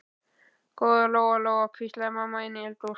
Góða Lóa Lóa, hvíslaði mamma inni í eldhúsi.